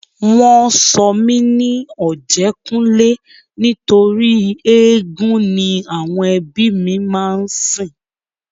Wọn sọ mí ní Ọ̀jẹ́kúnlé nítorí éégún ni àwọn ẹbí mi máa ń sìn